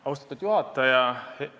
Austatud juhataja!